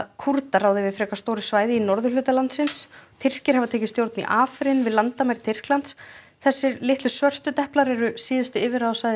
Kúrdar ráða yfir frekar stóru svæði í norðurhluta landsins Tyrkir hafa tekið stjórn í við landamæri Tyrklands þessir litlu svörtu deplar eru síðustu yfirráðasvæði